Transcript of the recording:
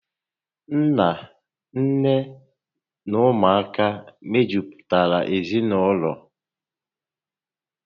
Nna, nné na ụmụ aka mejupụtara ezinaụlọ